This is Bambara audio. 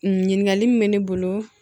Ɲininkali min bɛ ne bolo